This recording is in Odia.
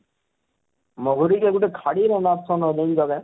ମହୁରୀ କେ ଗୁଟେ ଖାଡୀ ରେ ନାପ ସନ ହୋ ଜାନିଛ କାଏଁ